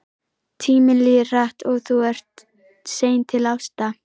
Tíminn líður hratt og þú ert sein til ásta.